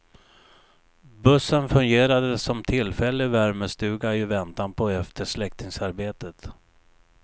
Bussen fungerade som tillfällig värmestuga i väntan på eftersläckningsarbetet.